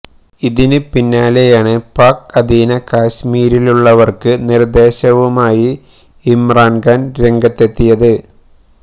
ഇതിന് പിന്നാലെയാണ് പാക് ആധീന കശ്മീരിലുള്ളവര്ക്ക് നിര്ദേശവുമായി ഇമ്രാന് ഖാന് രംഗത്തെത്തിയത്